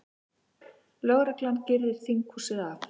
Lögreglan girðir þinghúsið af